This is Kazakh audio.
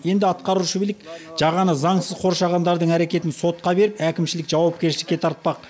енді атқарушы билік жағаны заңсыз қоршағандардың әрекетін сотқа беріп әкімшілік жауапкершілікке тартпақ